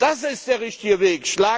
Das ist der richtige Weg.